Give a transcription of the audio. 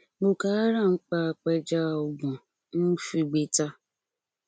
boko haram pa apẹja ọgbọn un figbe ta